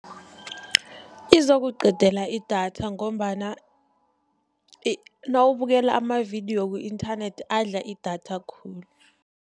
Izokuqedela idatha, ngombana nawubukela amavidiyo ku-inthanethi adla idatha khulu.